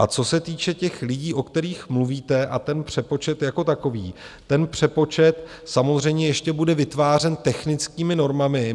A co se týče těch lidí, o kterých mluvíte, a ten přepočet jako takový, ten přepočet samozřejmě ještě bude vytvářen technickými normami.